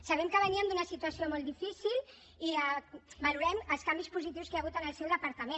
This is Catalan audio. sabem que veníem d’una situació molt difícil i valorem els canvis positius que hi ha hagut en el seu departament